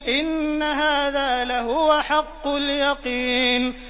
إِنَّ هَٰذَا لَهُوَ حَقُّ الْيَقِينِ